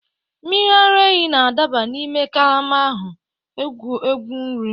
Mmiri ara ehi na-adaba n'ime karama ahụ, egwu egwu nri.